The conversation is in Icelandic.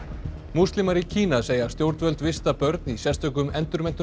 múslimar í Kína segja stjórnvöld vista börn í sérstökum